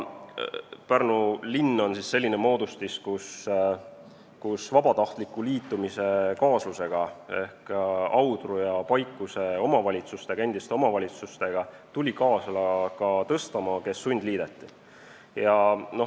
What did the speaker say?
Pärnu linn on siis selline moodustis, kus vabatahtlike liitujate ehk Audru ja Paikuse endiste omavalitsustega tuli kaasa ka Tõstamaa, kes sundliideti.